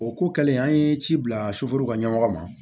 O ko kɛlen an ye ci bila soforo ka ɲɛmɔgɔ ma